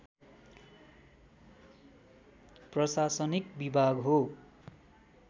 प्रशासनिक विभाग हो